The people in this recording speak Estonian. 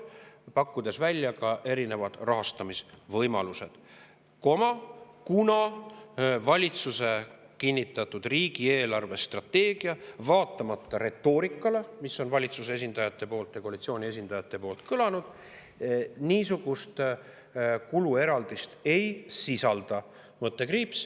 Me pakume välja erinevad rahastamisvõimalused, kuna valitsuse kinnitatud riigi eelarvestrateegia, vaatamata retoorikale, mis on valitsuse esindajate poolt ja koalitsiooni esindajate poolt kõlanud, niisugust kulueraldist ei sisalda.